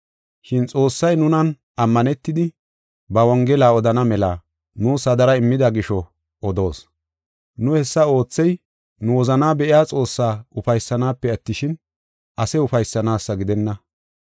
Shin Xoossay nunan ammanetidi ba Wongela odana mela nuus hadara immida gisho odoos. Nu hessa oothey nu wozanaa be7iya Xoossaa ufaysanaasafe attishin, ase ufaysanaasa gidenna.